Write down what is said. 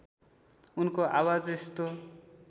उनको आवाज यस्तो